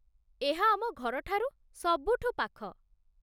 ଏହା ଆମ ଘରଠାରୁ ସବୁଠୁ ପାଖ।